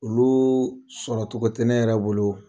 Olu sɔrɔ cogo tɛ ne yɛrɛ bolo